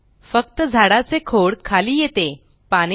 फक्त झाडाचे खोड खाली येते पाने नाही